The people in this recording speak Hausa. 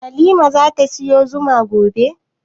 Hanifa zata siyo zuma gobe?